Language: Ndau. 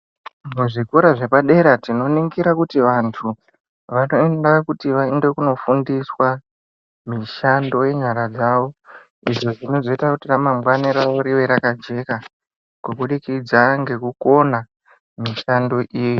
Muzvikora zvepadera tinoningira kuti vantu vanoenda kuti vaende kunofundiswa mishando yenyara dzavo izvo zvinozoita kuti ramangwani ravo rive rakajeka kubudikidza ngekukona mishando iyi.